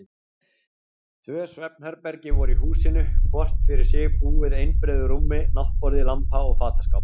Tvö svefnherbergi voru í húsinu, hvort fyrir sig búið einbreiðu rúmi, náttborði, lampa og fataskáp.